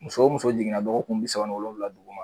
Muso o muso jiginna dɔgɔkunbi saba ni wolowula duguma